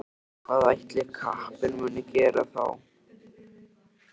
Hvað ætli kappinn muni gera þá?